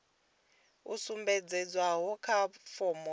yo sumbedzwaho kha fomo phanda